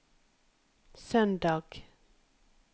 søndag